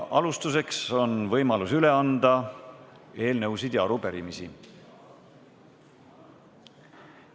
Alustuseks on võimalus üle anda eelnõusid ja arupärimisi.